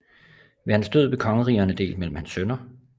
Ved hans død blev kongerigerne delt mellem hans sønner